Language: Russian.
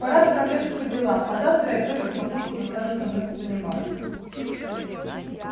пора отправляться по делам а завтра я точно папульку заставлю со мной позаниматься